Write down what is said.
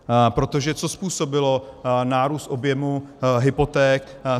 Protože co způsobilo nárůst objemu hypoték?